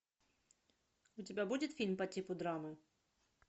у тебя будет фильм по типу драмы